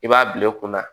I b'a bila i kunna